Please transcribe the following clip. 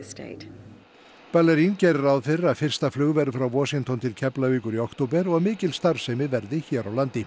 ballarin gerir ráð fyrir að fyrsta flug verði frá Washington til Keflavíkur í október og að mikil starfsemi verði hér á landi